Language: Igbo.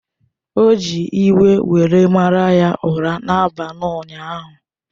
O ji iwe were mara ya ụra n’abalị ụnyaahụ.